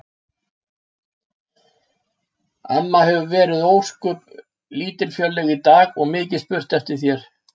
Amma hefur verið ósköp lítilfjörleg í dag og mikið spurt eftir þér